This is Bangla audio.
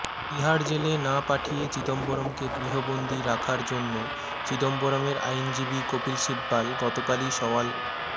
তিহাড় জেলে না পাঠিয়ে চিদম্বরমকে গৃহবন্দি রাখার জন্য চিদম্বরমের আইনজীবী কপিল সিব্বল গত কালই সওয়াল